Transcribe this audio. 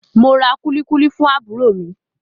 Mo ra kulikuli fún àbúrò mi.